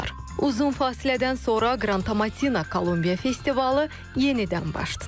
Uzun fasilədən sonra Qrantomatina Kolumbiya festivalı yenidən baş tutub.